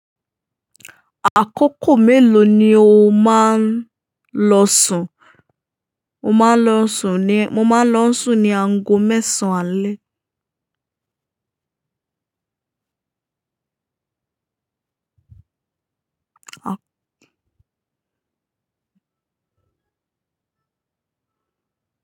Àkókò mélòó ni o máa ń lọ sùn? Mo máa ń lọ sùn ní aago mẹ́sàn àle.